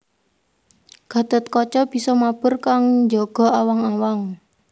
Gatotkaca bisa mabur kang njaga awang awang